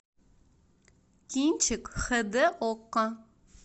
кинчик хд окко